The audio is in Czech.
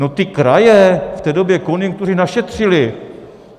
No, ty kraje, v té době konjunktury našetřily.